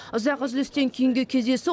ұзақ үзілістен кейінгі кездесу